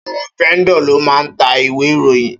Áwòn vèndò ló má n tá iwé iróyin